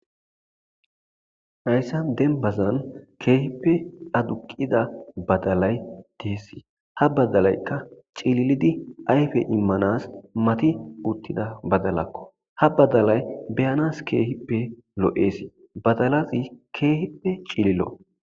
hayssa denbazan keehippe aduqida badalay deessi ha badalaykka cililidi ayfe immanas mati uttida badalakko ha badalay beyanas keehippe lo7eesi badalaxi keehippe cililo